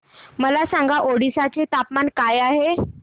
मला सांगा ओडिशा चे तापमान काय आहे